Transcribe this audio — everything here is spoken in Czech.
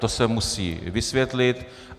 To se musí vysvětlit.